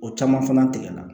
O caman fana tigɛ la